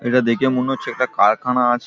এটা দেখে মনে হচ্ছে একটা কারখানা আছে।